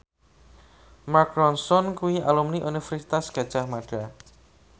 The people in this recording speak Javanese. Mark Ronson kuwi alumni Universitas Gadjah Mada